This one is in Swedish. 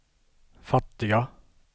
fattiga